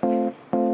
selle hääletusele.